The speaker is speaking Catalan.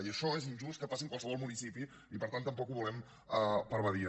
i això és injust que passi en qualsevol municipi i per tant tampoc ho volem per a badia